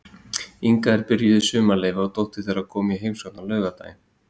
Inga var byrjuð í sumarleyfi og dóttir þeirra kom í heimsókn á laugardeginum.